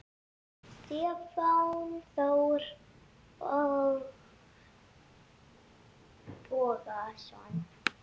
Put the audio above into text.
Stefán Þór Bogason